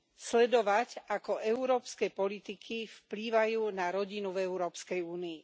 Sledovať, ako európske politiky vplývajú na rodinu v Európskej únii.